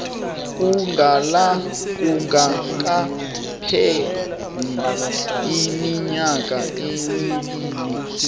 kungakapheli iminyaka emibili